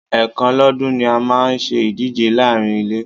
Ẹ̀kan lọ́dún ni a máa ń ṣe ìdíje láàárín ilé.